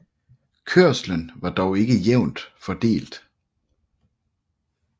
Kørslen var dog ikke jævnt fordelt